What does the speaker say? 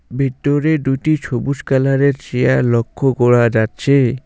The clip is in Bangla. ভিতরে দুটি সবুজ কালারের এর চেয়ার লক্ষ্য করা যাচ্ছে।